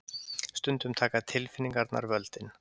Stundum taka tilfinningarnar völdin.